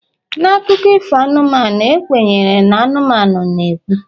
na akụkọ ifo anụmanụ, e kwenyere na anụmanụ na-ekwu